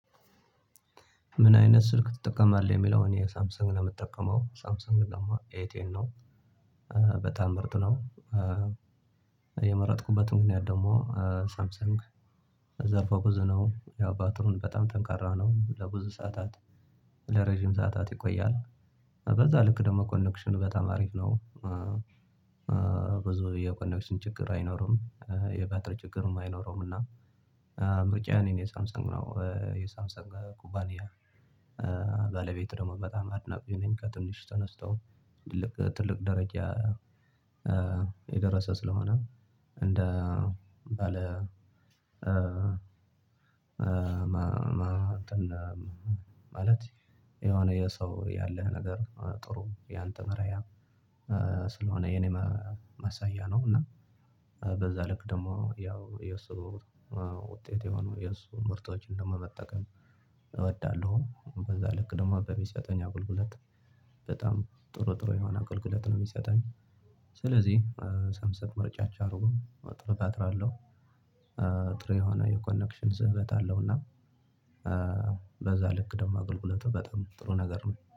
ምን አይነት ስልክ ትጠቀማለህ? የሚለውን እኔ ሳምሰንግ ነው የምጠቀመው ሳምሰንግ ደግሞ ኤ ቴን ነው። ምርጥ ነው። የመረጥኩበት ምክንያት ደግሞ ሳምሰንግ ዘርፈ ብዙ ነው። ያው ባትሪው በጣም ጠንካራ ነው። ለብዙ ሰዓታት ለረጅም ሰዓታት ይቆያል። በዛ ልክ ደግሞ ኮኔክሽኑ በጣም አሪፍ ነው። ብዙ የኮኔክሽን ችግር አይኖርም። የባትሪ ችግርም አይኖረውም። እና ምርጫየ እኔ የሳምሰን ግናው የሳምሰንግን ኩባንያ ባለቤት ደግሞ በጣም አድናቂ ነኝ። ከትንሹ ተነስቶ ትልቅ ትልቅ ደረጃ የደረሰ ስለሆነ። እንደ ባለ ማለት የሆነ የሰው ያለህ ነገር ጥሩ ያንተ መርሃ ስለሆነ የኔ ማሳያ ነው። እና በዛ ልክ ደግሞ ያው የእሱ ውጤት የሆኑ የእሱ ምርቶችን ደግሞ መጠቀም እወዳለሁ። በዛ ልክ ደግሞ በሚሰጠኝ አገልግሎት በጣም ጥሩ ጥሩ የሆነ አገልግሎት ነው የሚሰጠኝ። ስለዚህ ሳምሰንግን ምርጫቸው አድርጉ ጥሩ ባትሪ አለው። ጥሬ ሆነው የኮኔክሽን ስህበት አለውና። በዛ ልክ ደግሞ አገልግሎቱ በጣም ጥሩ ነገር ነው